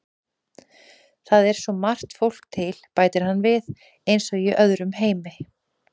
Það er svo margt fólk til, bætir hann við, eins og í öðrum heimi.